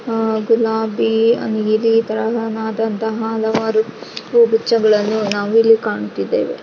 ಆಹ್ಹ್ ಗುಲಾಬಿ ಆಮೇಲೆ ನೀಲಿ ತರಹಣದಂತಹ ಹಲವಾರು ಹೂಗುಚ್ಛಗಳನ್ನು ನಾವಿಲ್ಲಿ ಕಾಣ್ತಿದೆವೆ.